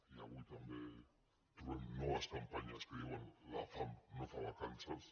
i avui també trobem noves campanyes que diuen la fam no fa vacances